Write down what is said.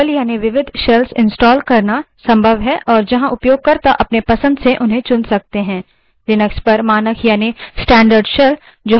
Linux में multiple यानि विविध shells installed करना संभव है और जहाँ उपयोगकर्ता अपने पसंद से उन्हें चुन सकते हैं